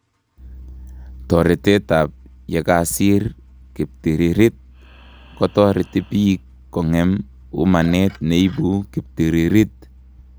Toretet ab yakasir kiptiririt kotoreti biik kong'em umanet neibu kiptiririt